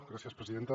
gràcies presidenta